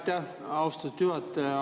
Aitäh, austatud juhataja!